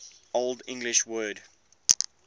old english word